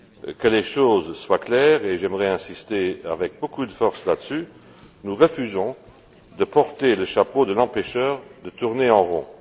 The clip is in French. Que les choses soient claires et j'aimerais insister avec beaucoup de force sur ce point nous refusons de porter le chapeau de l'empêcheur de tourner en rond!